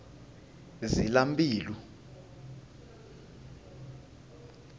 zilambilu